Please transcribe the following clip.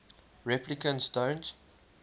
replicants don't